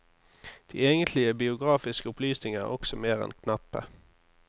De egentlige biografiske opplysninger er også mer enn knappe.